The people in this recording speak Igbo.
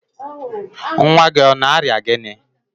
nwa gị ọ na-arịa gịnị?